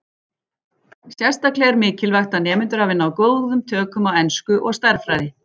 Sérstaklega er mikilvægt að nemendur hafi náð góðum tökum á ensku og stærðfræði.